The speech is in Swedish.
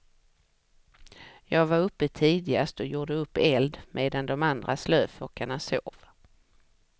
Jag var uppe tidigast och gjorde upp eld medan de andra slöfockarna sov.